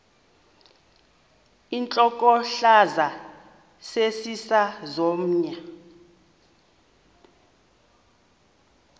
intlokohlaza sesisaz omny